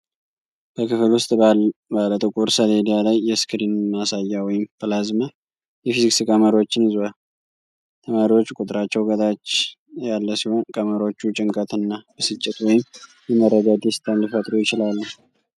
በክፍል ውስጥ ባለ ጥቁር ሰሌዳ ላይ የስክሪን ማሳያ ወይም ፕላዝማ የፊዚክስ ቀመሮችን ይዟል። ተማሪዎች ቁጥራቸው ከታች ያለ ሲሆን፣ ቀመሮቹ ጭንቀትና ብስጭት ወይም የመረዳት ደስታን ሊፈጥሩ ይችላሉ።